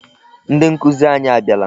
Ndị nkụzi anyị abịala.